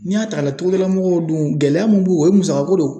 N'i y'a ta k'a lajɛ togodala mɔgɔw dun ,gɛlɛya mun bɛ yen, o ye musakako de ye.